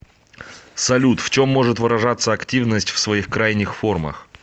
салют в чем может выражаться активность в своих крайних формах